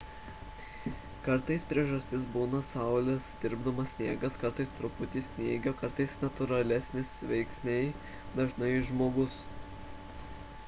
kartais priežastis būna saulės tirpdomas sniegas kartais truputis snygio kartais natūralesni veiksniai dažnai žmogus